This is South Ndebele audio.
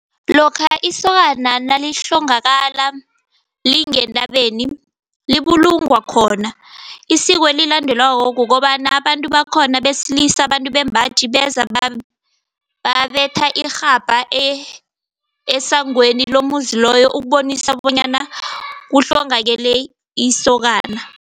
Lokha isokana nalihlongakala lingentabeni libulungwa khona. Isiko elilandelwako kukobana, abantu bakhona besilisa, abantu bembaji beza babetha irhabha esangweni lomuzi loyo ukubonisana bonyana kuhlongakele isokana.